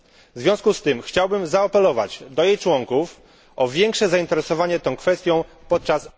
W związku z tym chciałbym zaapelować do jej członków o większe zainteresowanie tą kwestią podczas...